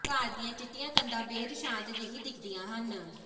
ਘਰਾਂ ਦੀਆਂ ਚਿੱਟੀਆਂ ਕੰਧਾਂ ਬੇਹੱਦ ਸ਼ਾਂਤ ਜਿਹੀ ਦਿਖਦੀਆਂ ਹਨ